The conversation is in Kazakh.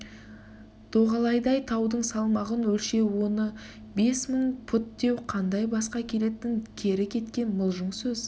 доғалайдай таудың салмағын өлшеу оны бес мың пұт деу қандай басқа келетін кері кеткен мылжың сөз